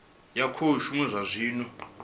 ya khou shuma zwa zwino